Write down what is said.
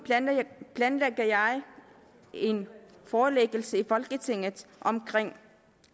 planlægger jeg en forelæggelse i folketinget omkring